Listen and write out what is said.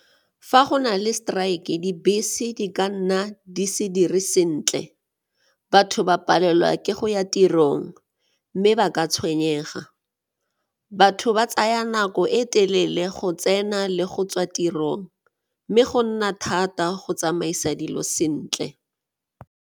Fa go na le strike dibese di ka nna di se dire sentle, batho ba palelwa ke go ya tirong mme ba ka tshwenyega. Batho ba tsaya nako e telele go tsena le go tswa tirong mme go nna thata go tsamaisa dilo sentle.